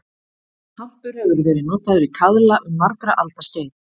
Hampur hefur verið notaður í kaðla um margra alda skeið.